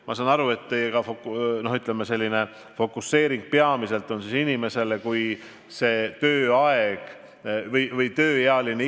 Ma saan aru, et teie fokuseering on suunatud peamiselt inimesele, kelle tööiga on lõppenud.